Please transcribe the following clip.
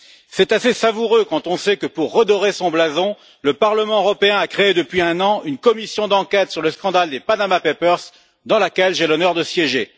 C'est assez savoureux quand on sait que, pour redorer son blason, le Parlement européen a créé depuis un an une commission d'enquête sur le scandale des Panama Papers, au sein de laquelle j'ai l'honneur de siéger.